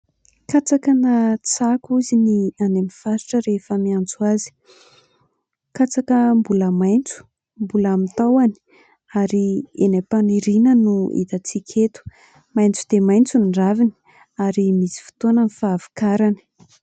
Katsaka na tsako ozy ny any amin'ny faritra rehefa miantso azy. Katsaka mbola maitso, mbola amin'ny tahony ary eny am-paniriana no hitantsika eto. Maitso dia maitso ny raviny ary misy fotoana ny fahavokarany.